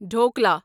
dhokla